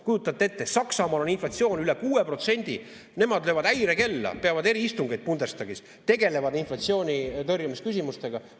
Kujutate ette, Saksamaal on inflatsioon üle 6%, nemad löövad häirekella, peavad eriistungeid Bundestagis, tegelevad inflatsiooni tõrjumise küsimustega.